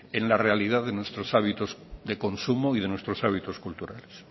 en la realidad de nuestros hábitos de consumo y de nuestros hábitos culturales